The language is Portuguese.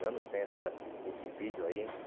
anos tem essa esse vídeo aí, hein?